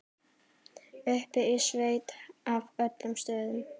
Uppi í sveit af öllum stöðum.